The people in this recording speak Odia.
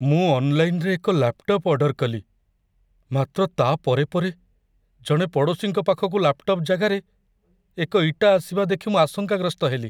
ମୁଁ ଅନ୍‌ଲାଇନ୍‌ରେ ଏକ ଲାପ୍‌ଟପ୍ ଅର୍ଡର କଲି, ମାତ୍ର ତା' ପରେ ପରେ ଜଣେ ପଡ଼ୋଶୀଙ୍କ ପାଖକୁ ଲାପ୍ଟପ୍ ଜାଗାରେ ଏକ ଇଟା ଆସିବା ଦେଖି ମୁଁ ଆଶଙ୍କାଗ୍ରସ୍ତ ହେଲି।